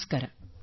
ನಮಸ್ಕಾರ